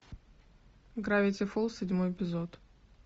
гравити фолз седьмой эпизод